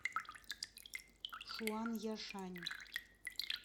шуанъяшань